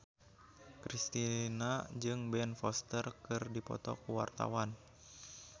Kristina jeung Ben Foster keur dipoto ku wartawan